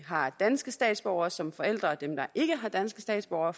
har danske statsborgere som forældre og dem der ikke har danske statsborgere